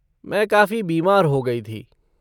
मैं काफ़ी बीमार हो गई थी।